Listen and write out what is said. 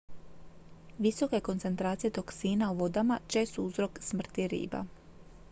visoke koncentracije toksina u vodama čest su uzrok smrti riba